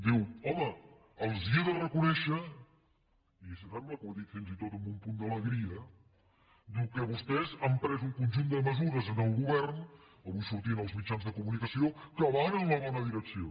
diu home els he de reconèixer i em sembla que ho ha dit fins i tot amb un punt d’alegria que vostès han pres un conjunt de mesures en el govern avui sortia als mitjans de comunicació que van en la bona direcció